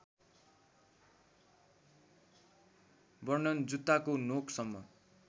वर्णन जुत्ताको नोकसम्म